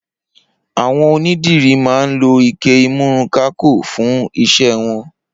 Awọn ónidiri mà n ló iké ìmùrúnkàkó fùn iṣẹ wọn